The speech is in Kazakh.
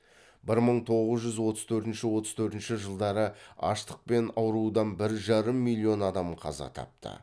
бір мың тоғыз жүз отыз төртінші отыз төртінші жылдары аштық пен аурудан бір жарым миллион адам қаза тапты